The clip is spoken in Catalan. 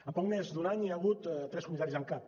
en poc més d’un any hi ha hagut tres comissaris en cap